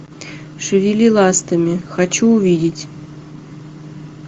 шевели ластами хочу увидеть